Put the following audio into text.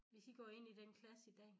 Hvis i går ind i den klasse i dag